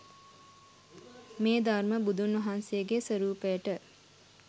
මේ ධර්ම බුදුන් වහන්සේගේ ස්වරූපයට